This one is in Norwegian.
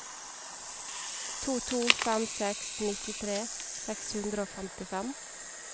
to to fem seks nittitre seks hundre og femtifem